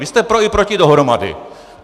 Vy jste pro i proti dohromady.